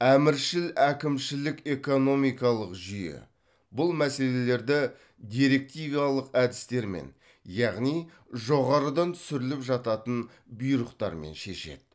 әміршіл әкімшілік экономикалық жүйе бұл мәселелерді директивалық әдістермен яғни жоғарыдан түсіріліп жататын бұйрықтармен шешеді